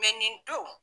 nin don